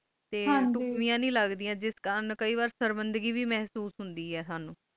ਤੇ ਟੁਕੜੀਆ ਨੇ ਲੱਗਦੀਆਂ ਕੇ ਵਾਰ ਸੁਰਮਿੰਦਗੀ ਵੇ ਮਹਿਸੂਸ ਹੋਣੀ ਆਏ